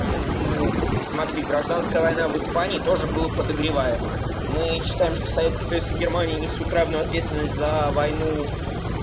ну смотри гражданская война в испании тоже была подогреваемая мы читаем что советский союз и германия несут равную ответственность за войну